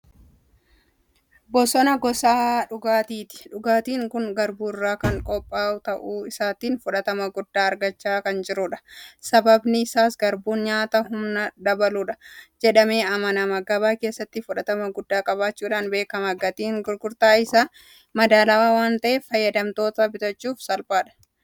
Bassoon gosa dhugaatiiti. Dhugaatiin kun Garbuu irraa kan qophaa'u ta'uu isaatiin fudhatama guddaa argachaa kan jirudha. Sababni isaas Garbuun nyaata humna dabaludha jedhamee amanama. Gabaa keessattis fudhatama guddaa qabaachuudhaan beekama. Gatiin gurgurtaa isaas madaalawaa waanta'eef fayyadamtoonni bitachuuf salphaadha.